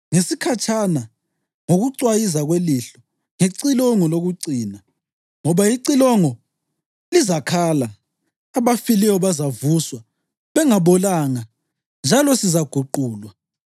ngesikhatshana, ngokucwayiza kwelihlo, ngecilongo lokucina. Ngoba icilongo lizakhala, abafileyo bazavuswa bengabolanga, njalo sizaguqulwa.